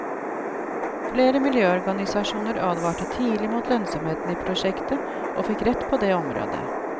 Flere miljøorganisasjoner advarte tidlig mot lønnsomheten i prosjektet, og fikk rett på det området.